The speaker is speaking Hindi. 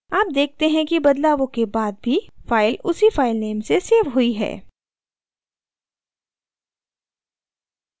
आप देखते हैं कि बदलावों के बाद भी file उसी file से so हुई है